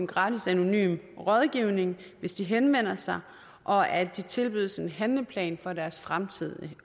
gratis anonym rådgivning hvis de henvender sig og at de også tilbydes en handleplan for deres fremtid